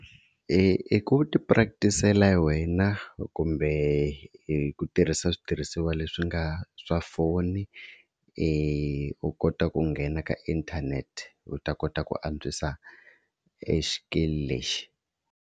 I ku ti-practi-sela wena kumbe hi ku tirhisa switirhisiwa leswi nga swa foni, u kota ku nghena ka inthanete u ta kota ku antswisa exikili lexi.